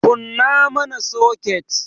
Kunna mana soket!